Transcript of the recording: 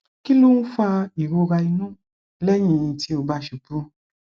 kí ló ń fa ìrora inú lẹyìn tí ó bá ṣubú